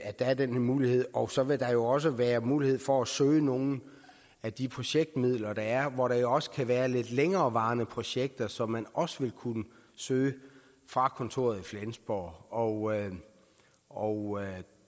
er den her mulighed og så vil der jo også være mulighed for at søge nogle af de projektmidler der er hvor der også kan være lidt længerevarende projekter som man også vil kunne søge fra kontoret i flensborg og og